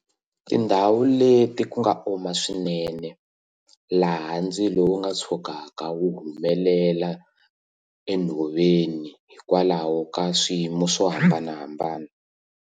Tindhawu leti ku nga oma swinene laha ndzilo wu nga tshukaka wu humelela enhoveni hikwalaho ka swiyimo swo hambanahambana.